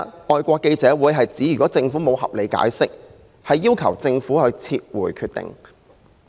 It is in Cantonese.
外國記者會表明，如果政府沒有合理解釋，會要求政府撤回決定。